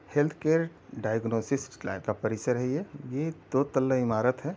Health care diagnosis lab का परिसर है ये ये दो तल्ला ईमारत है।